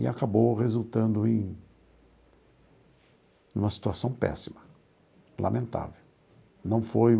E acabou resultando em uma situação péssima, lamentável. Não foi...